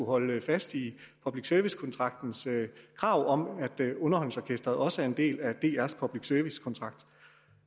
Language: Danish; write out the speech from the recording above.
holde fast i public service kontraktens krav om at underholdningsorkestret også er en del af drs public service kontrakt